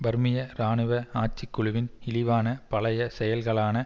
பர்மிய இராணுவ ஆட்சிக்குழுவின் இழிவான பழைய செயல்களான